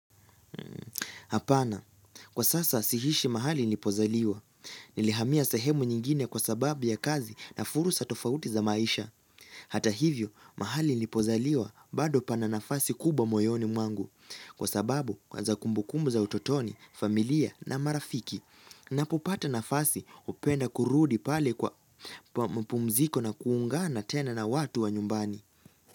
Hapana, kwa sasa siishi mahali nilipozaliwa. Nilihamia sahemu nyingine kwa sababu ya kazi na fursa tofauti za maisha. Hata hivyo, mahali nilipozaliwa bado pana nafasi kubwa moyoni mwangu. Kwa sababu, kwanza kumbukumbu za utotoni, familia na marafiki. Ninapopata nafasi hupenda kurudi pale kwa mapumziko na kuungana tena na watu wa nyumbani.